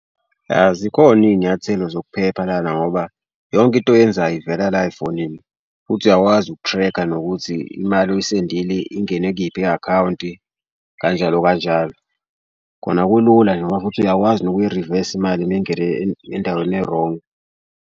Yah zikhona iy'nyathelo zokuphepha lana ngoba yonke into oyenzayo ivela la efonini futhi uyakwazi uku-track-a nokuthi imali oyisendile ingene kuyiphi i-akhawunti kanjalo kanjalo. Khona kulula nje ngoba futhi uyakwazi nokuyirivesa imali uma ingene endaweni erongi.